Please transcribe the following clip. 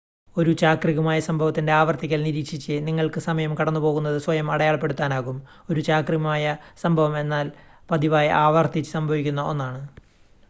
ഒരു ചാക്രികമായ സംഭവത്തിൻ്റെ ആവർത്തിക്കൽ നിരീക്ഷിച്ച് നിങ്ങൾക്ക് സമയം കടന്നുപോകുന്നത് സ്വയം അടയാളപ്പെടുത്താനാകും ഒരു ചാക്രികമായ സംഭവം എന്നാൽ പതിവായി ആവർത്തിച്ച് സംഭവിക്കുന്ന ഒന്നാണ്